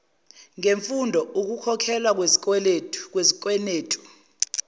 ngemfundo ukukhokhelwa izikwenetu